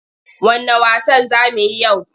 Wanne wasan za mu yi yau?